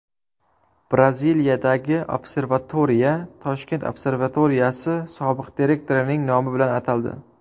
Braziliyadagi observatoriya Toshkent observatoriyasi sobiq direktorining nomi bilan ataldi.